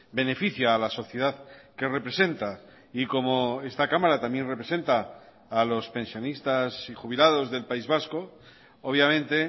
beneficia a la sociedad que representa y como esta cámara también representa a los pensionistas y jubilados del país vasco obviamente